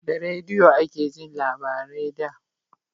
Da rediyo ake jin labarai da